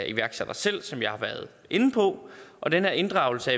iværksættere selv som jeg har været inde på og den her inddragelse af